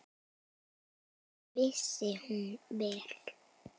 Það vissi hún vel.